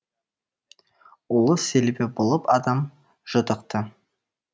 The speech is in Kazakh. ұлы селебе болып адам жұтықты